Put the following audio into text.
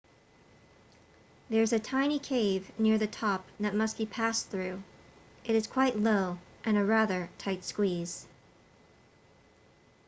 there's a tiny cave near the top that must be passed through it is quite low and a rather tight squeeze